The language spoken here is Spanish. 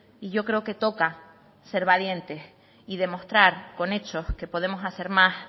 y yo creo que toca ser valiente y demostrar con hechos que podemos hacer más